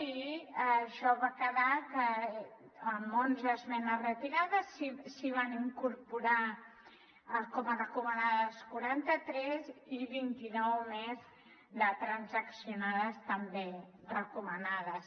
i això va quedar amb onze esmenes retirades i se n’hi van incorporar com a recomanades quaranta tres i vint i nou més de transaccionades també recomanades